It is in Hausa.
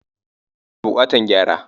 Kujerun na bukatar gyara.